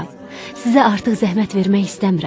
Sizə artıq zəhmət vermək istəmirəm.